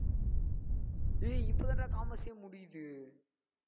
டேய் இப்பதான்டா commerce ஏ முடியுது